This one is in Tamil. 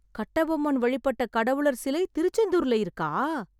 கட்டபொம்மன் வழிபட்ட கடவுளர் சிலை திருச்செந்தூர்ல இருக்கா?